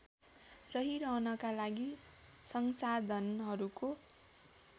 रहिरहनका लागि संसाधनहरूको